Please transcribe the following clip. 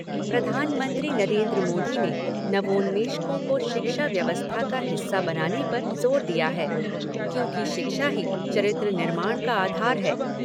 प्रधानमंत्री नरेन्द्र मोदी ने नवोन्मेषकों को शिक्षा व्यवस्था का हिस्सा बनाने पर जोर दिया है क्योंकि शिक्षा ही चरित्र निर्माण का आधार है।